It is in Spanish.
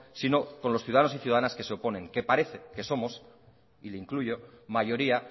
sino con los ciudadanos y ciudadanas que se oponen que parece que somos y le incluyo mayoría